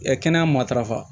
kɛnɛya matarafa